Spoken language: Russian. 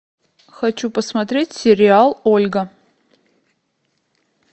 хочу посмотреть сериал ольга